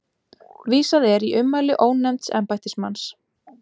Vísað er í ummæli ónefnds embættismanns